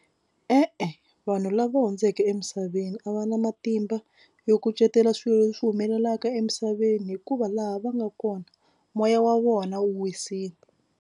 E-e vanhu lava hundzeke emisaveni a va na matimba yo kucetela swilo leswi humelelaka emisaveni hikuva laha va nga kona moya wa vona wu wisile.